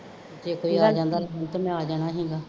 ਜੇ ਕੋਈ ਆ ਜਾਂਦਾ ਮੈਂ ਆ ਜਾਣਾ ਸੀਗਾ